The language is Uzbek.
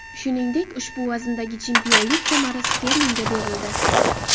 Shuningdek, ushbu vazndagi chempionlik kamari Sterlingga berildi.